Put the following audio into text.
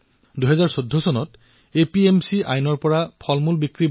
কিন্তু ২০১৪ চনত ফল আৰু শাকপাচলিক এপিএমচি আইনৰ আওতাৰ বাহিৰত ৰখা হল